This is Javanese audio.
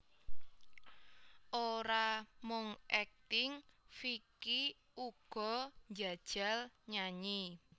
Ora mung akting Vicky uga njajal nyanyi